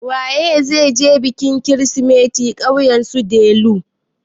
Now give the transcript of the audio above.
Waye zai je bikin kirsimeti ƙauyen su Delu?